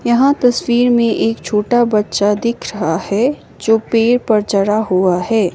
यहां तस्वीर में एक छोटा बच्चा दिख रहा है जो पेड़ पर चढ़ा हुआ है।